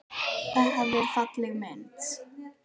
Það er falleg mynd.